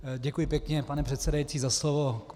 Děkuji pěkně, pane předsedající, za slovo.